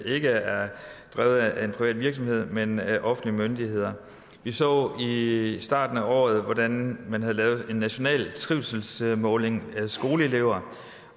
ikke er drevet af en privat virksomhed men af offentlige myndigheder vi så i starten af året hvordan man havde lavet en national trivselsmåling af skoleelever